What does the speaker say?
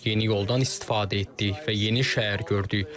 Yeni yoldan istifadə etdik və yeni şəhər gördük.